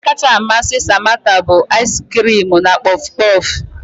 Nri kacha amasị Samantha bụ ais kirim na kpof kpof